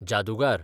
जादूगार